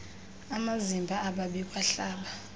amazimba ababikwa hlaba